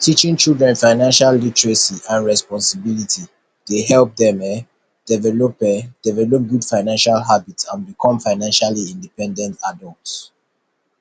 teaching children financial literacy and responsibility dey help dem um develop um develop good financial habits and become financially independent adults